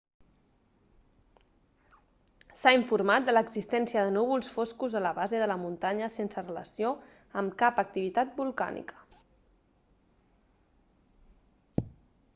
s'ha informat de l'existència de núvols foscos a la base de la muntanya sense relació amb cap activitat volcànica